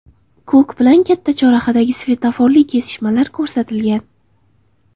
Ko‘k bilan katta chorrahadagi svetoforli kesishmalar ko‘rsatilgan.